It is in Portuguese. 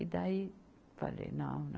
E daí, falei, não, não.